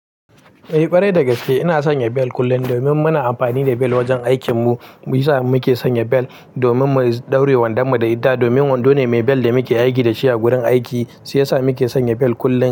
Eh, kwarai da gaske. Ina sanya bel kullum domin muna amfani da bel wajen aikin mu. Mi yasa muke sanya bel domin mu ɗaure wanda mu da ita domin wando ne mai bel da muke aiki da shi a gurin aiki, shi yasa muke sanya bel kullum.